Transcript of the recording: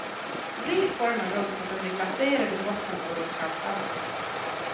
Vrid formen runt så att den blir glaserad i botten och runt kanterna.